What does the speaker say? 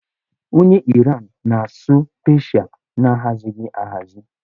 Onye Iran na-asụ Peeshịa na-ahazighị ahazi